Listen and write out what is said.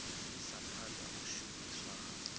isa phanda u shumiswa ha